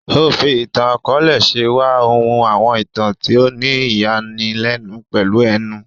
O fí ìtàn-akọọlẹ ṣe wá, o hun àwọn ìtàn tí o ni ìyani lénu pèlú ẹnu.